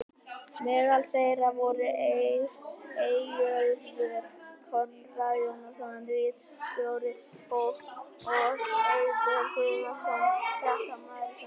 Meðal þeirra voru Eyjólfur Konráð Jónsson ritstjóri og og Eiður Guðnason fréttamaður sjónvarps.